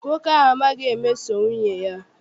Nwoke a amaghi emeso nwunye ya.